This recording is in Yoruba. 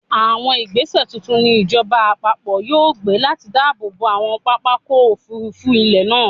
Àwọn ìgbẹ́sẹ̀ tuntun ni ìjọba-àpapọ̀ yóò gbé láti dáàbò bo àwọn pápákọ̀-òfurufú ilẹ̀ wa.